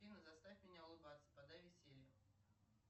афина заставь меня улыбаться подай веселье